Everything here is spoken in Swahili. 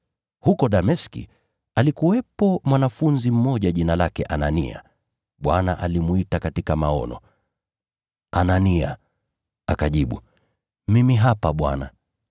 Huko Dameski alikuwepo mwanafunzi mmoja jina lake Anania. Bwana alimwita katika maono, “Anania!” Akajibu, “Mimi hapa Bwana.”